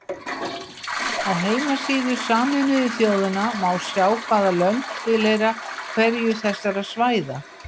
Á heimasíðu Sameinuðu þjóðanna má sjá hvaða lönd tilheyra hverju þessara svæða.